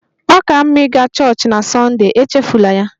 Ọ ka mma ịga chọọchị na Sunday! Echefula ya.